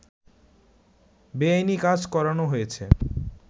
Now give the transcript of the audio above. বেআইনি কাজ করানো হয়েছে